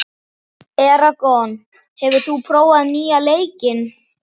Eragon, hefur þú prófað nýja leikinn?